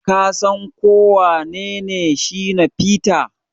Ka San ko wanene Shina peter?